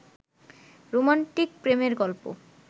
romantic প্রেমের গল্প